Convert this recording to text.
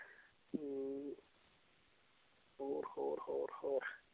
ਹੋਰ ਹੋਰ ਹੋਰ ਹੋਰ